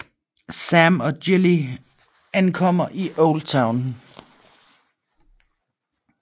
Sam og Gilly ankommer i Oldtown